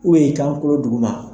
U be i kankolo duguma